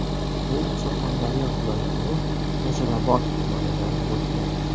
U Surxondaryo viloyatining Muzrabot tumanidan bo‘lgan.